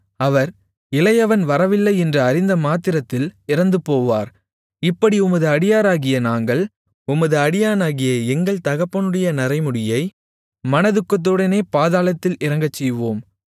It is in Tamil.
அவர் இளையவன் வரவில்லை என்று அறிந்தமாத்திரத்தில் இறந்துபோவார் இப்படி உமது அடியாராகிய நாங்கள் உமது அடியானாகிய எங்கள் தகப்பனுடைய நரைமுடியை மனதுக்கத்துடனே பாதாளத்தில் இறங்கச்செய்வோம்